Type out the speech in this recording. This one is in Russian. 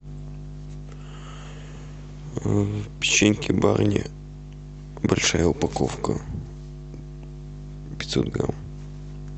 печеньки барни большая упаковка пятьсот грамм